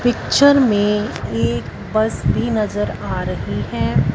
Picture में एक bus भी नजर आ रही है।